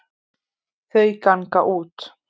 Þau ganga út.